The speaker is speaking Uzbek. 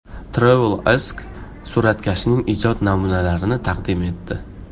TravelAsk suratkashning ijod namunalarini taqdim etdi .